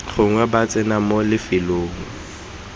gongwe ba tsena mo lefelong